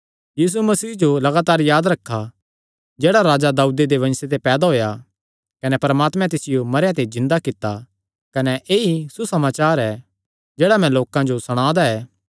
यीशु मसीह जो लगातार याद रखा जेह्ड़ा राजा दाऊदे दे वंशे ते पैदा होएया कने परमात्मे तिसियो मरेयां ते जिन्दा कित्ता कने ऐई सुसमाचार ऐ जेह्ड़ा मैं लोकां जो सणांदा ऐ